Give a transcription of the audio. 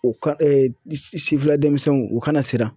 U ka sifinna denmisɛnw u kana siran